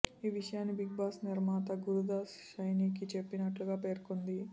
ఈ విషయాన్ని big boss నిర్మాత గురుదాస్ శణైకి చెప్పినట్లుగా పేర్కొంది